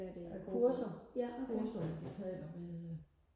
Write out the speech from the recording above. kurser kurser jeg betaler ved øh